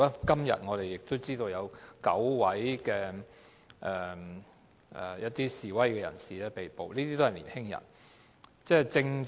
今天，我們知悉有9名示威人士被捕，他們都是年青人。